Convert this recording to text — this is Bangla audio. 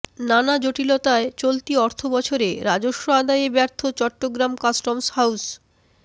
নানা জটিলতায় চলতি অর্থবছরে রাজস্ব আদায়ে ব্যর্থ চট্টগ্রাম কাস্টম হাউজ